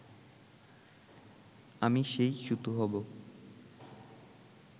আমি সেই সুতো হবো